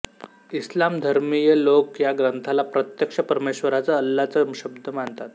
इस्लामधर्मीय लोक या ग्रंथाला प्रत्यक्ष परमेश्वराचा अल्लाचा शब्द मानतात